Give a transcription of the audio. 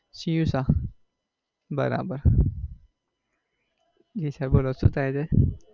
c u Shah બરાબર. Ji sir બોલો શું થાય છે?